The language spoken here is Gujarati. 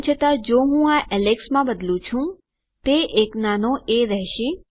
તેમ છતાં જો હું આ એલેક્સ માં બદલું છું તે એક નાનો એ રહેશે